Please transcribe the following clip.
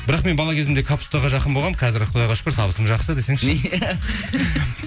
бірақ мен бала кезімде капустаға жақын болғанмын қазір құдайға шүкір табысым жақсы десеңші